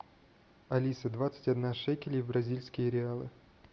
алиса двадцать одна шекелей в бразильские реалы